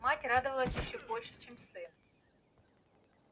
мать радовалась ещё больше чем сын